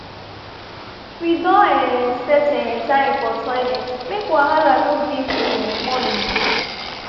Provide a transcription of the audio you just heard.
we don um set um time for toilet make wahala no dey for um morning.